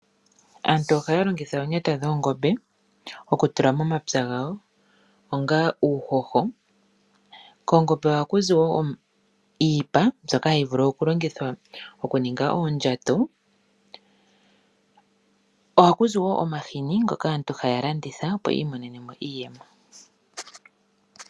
Aantu ohaya longitha omapumba goongombe okutula momapya gawo, onga uuhoho. Koongombe ohaku zi wo iipa mbyoka hayi vulu okulongithwa okuninga oondjato. Ohaku zi wo omahini ngoka aantu haya landitha, opo yi imonene mo iiyemo.